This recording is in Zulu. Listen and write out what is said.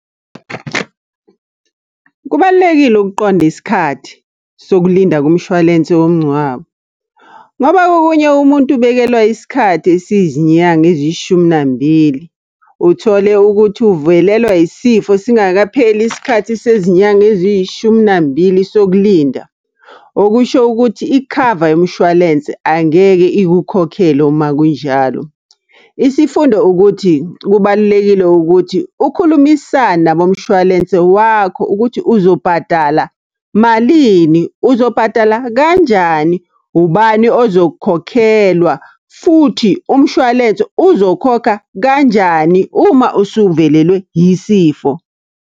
Kubalulekile ukuqonda isikhathi sokulinda kumshwalense womngcwabo, ngoba kokunye umuntu ubekelwa isikhathi esiyizinyanga eziyishumi nambili. Uthole ukuthi uvelelwa yisifo singakapheli isikhathi sezinyanga eziyishuminambili sokulinda. Okusho ukuthi ikhava yomshwalense angeke ikukhokhele uma kunjalo. Isifundo ukuthi, kubalulekile ukuthi ukhulumisane nabomshwalense wakho ukuthi uzobhadala malini, uzobhadala kanjani, ubani ozokhokhelwa. Futhi umshwalense uzokhokha kanjani uma usuvelelwe yisifo?